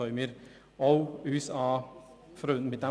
Damit können wir uns auch anfreunden.